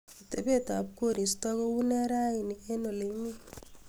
atebet ab koristo kounee raini en oleimi